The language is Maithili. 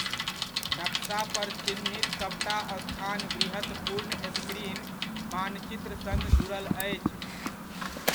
नक्शा पर चिह्नित सभटा स्थान वृहत पूर्ण स्क्रीन मानचित्र सङ्ग जुड़ल अछि।